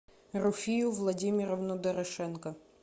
руфию владимировну дорошенко